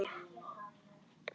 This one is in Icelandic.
Gleymdu því ekki.